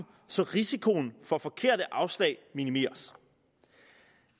så risikoen for forkerte afslag minimeres